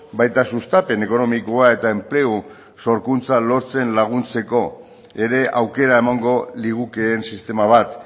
baita sustapen ekonomikoa eta enplegu sorkuntza lortzen laguntzeko ere aukera emango ligukeen sistema bat